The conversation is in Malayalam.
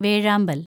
വേഴാമ്പല്‍